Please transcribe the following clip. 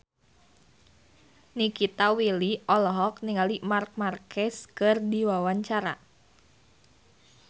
Nikita Willy olohok ningali Marc Marquez keur diwawancara